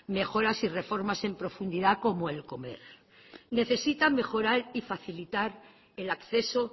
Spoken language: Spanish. mejoras y reformas en profundidad como el comer necesita mejorar y facilitar el acceso